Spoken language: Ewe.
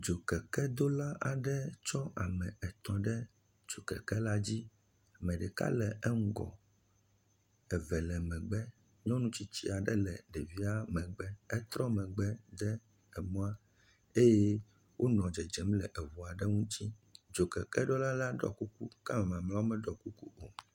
Dzokekedola aɖe tsɔ ame etɔ̃ ɖe dzokekela dzi. Ame ɖeka le eŋgɔ, eve le megbe. Nyɔnu tsitsi aɖe le ɖevia megbe. Etrɔ megbe de emɔa eye wonɔ dzedzem le eŋu aɖe ŋuti. Dzokekeɖola la ɖɔ kuku kea me mamlɛwo meɖɔ kuku o.